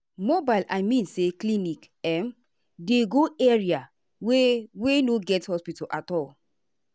mobile i mean say clinic um dey go area wey wey no get hospital at all.